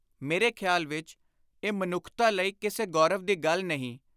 ਮੇਰੇ ਖ਼ਿਆਲ ਵਿਚ ਇਹ ਮਨੁੱਖਤਾ ਲਈ, ਕਿਸੇ ਗੌਰਵ ਦੀ ਗੱਲ ਨਹੀਂ।